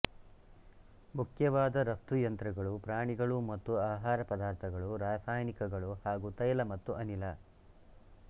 ಮುಖ್ಯವಾದ ರಫ್ತು ಯಂತ್ರಗಳು ಪ್ರಾಣಿಗಳು ಮತ್ತು ಆಹಾರ ಪದಾರ್ಥಗಳು ರಾಸಾಯನಿಕಗಳು ಹಾಗೂ ತೈಲ ಮತ್ತು ಅನಿಲ